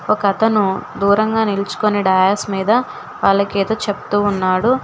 ఒక అతను దూరంగా నిలుచుకొని డయాస్ మీద వాళ్ళకి ఏదో చెప్తూ ఉన్నాడు.